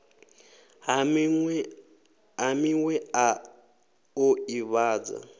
ha miwe a o ivhadza